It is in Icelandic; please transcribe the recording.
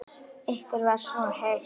Ykkur var svo heitt.